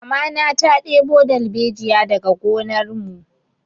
Mamana ta ɗebo dalbejiya daga gonar mu